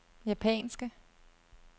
japanske